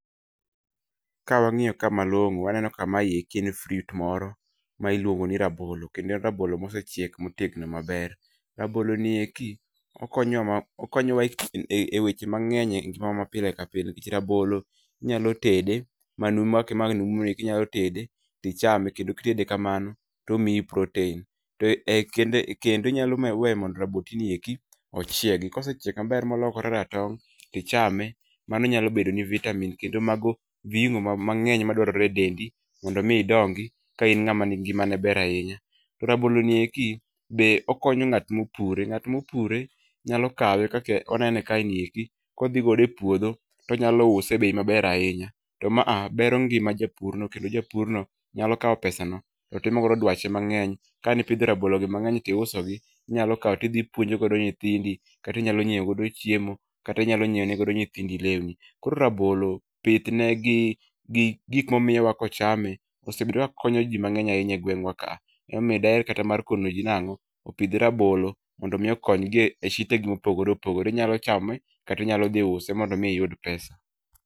Kawang'iyo ka malong'o, waneno ka mayeki en fruit moro ma iluongo ni rabolo. Kendo en rabolo mosechiek motegno maber. Rabolo ni eki, okonyo okonyowa e e weche mang'eny e ngima mapile kapile nikech rabolo, inyalo tede, manumu kake ma numu ni, kinyalo tede, tichame, kendo kitede kamano, tomiyi protein. To e kende kendo inyalo weyo mondo raboti ni eki, ochiegi. Kosechiek maber molokore ratong' , tichame. Mano nyalo bedoni vitamin kendo mago viungo mang'eny madwarore e dendi, mondo mi idongi ka in ng'ama ngimane ber ahinya. To rabolo ni eki, be okonyo ng'at mopure. Ng'at mopure, nyalo kawe kake onene kaeni eki, kodhi godo e puodho, tonyalo use e bei maber ahinya. To ma a bero ngima japurno kendo japurno, nyalo kaw pesano, totimo godo dwache mang'eny. Kanipidho rabolo gi mang'eny tiuso gi, inyalo kaw tidhi ipuonjo go nyithindi, kati inyalo nyiew godo chiemo, kata inyalo nyiewne godo nyithindi lewni. Koro rabolo, pith ne gi gi gik momiyowa kochame, osebedo ka konyo jii mang'eny ahinya e gweng'wa ka a. Emomiyo daher kata mar kono jii nang'o, opidh rabolo, mondo mi okony gi e shitegi mopogore opogore. Inyalo chame, kati inyalo dhi use mondo mi iyud pesa